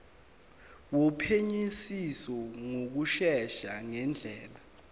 wophenyisiso ngokushesha ngendlela